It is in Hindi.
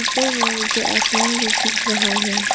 ऊपर में मुझे आसमान भी दिख रहा है।